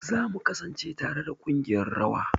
Za mu kasance tare da kungiƴar rawa.